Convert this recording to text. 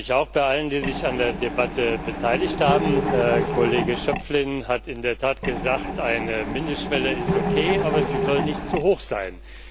Ich bedanke mich auch bei allen, die sich an der Debatte beteiligt haben. Herr Kollege Schöpflin hat in der Tat gesagt, eine Mindestschwelle ist okay, aber sie soll nicht zu hoch sein.